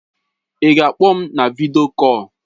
Ị ga-akpọ m na vidio kọl?